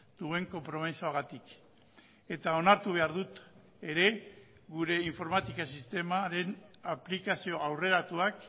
duen konpromisoagatik eta onartu behar dut ere gure informatika sistemaren aplikazio aurreratuak